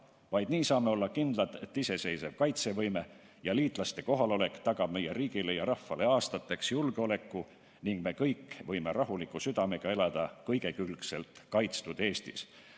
Vaid nii saame olla kindlad, et iseseisev kaitsevõime ja liitlaste kohalolek tagab meie riigile ja rahvale aastateks julgeoleku ning me kõik võime rahuliku südamega elada kõigekülgselt kaitstud Eestis.